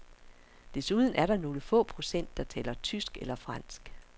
Desuden er der nogle få procent, der taler tysk eller fransk.